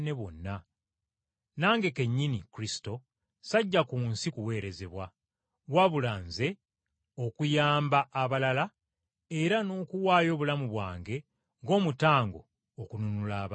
N’Omwana w’Omuntu, teyajja ku nsi kuweerezebwa, wabula okuweereza abalala, era n’okuwaayo obulamu bwe ng’omutango okununula abangi.”